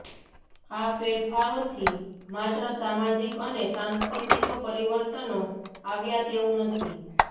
આ ફેરફારોથી માત્ર સામાજિક અને સાંસ્કૃતિક પરિવર્તનો આવ્યાં તેવું નથી